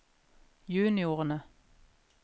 juniorene